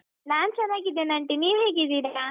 ನಾನ್ ಚೆನ್ನಾಗಿದ್ದೇನೆ aunty ನೀವ್ ಹೇಗಿದ್ದೀರಾ?